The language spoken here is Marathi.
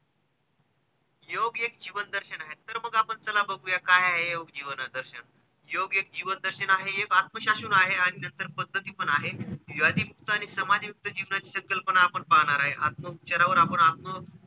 योग एक जीवनदर्शन आहे तर मग आपण चला बघूया काय आहे हे योग जीवनदर्शन. ` योग एक जीवनदर्शन आहे, एक आत्मशासन आहे आणि नंतर पद्धती पण आहे. योगयुक्त आणि समाजयुक्त जीवना ची संकल्पना आपण पाहणार आहे आत्मुच्चरवार आपण आत्म,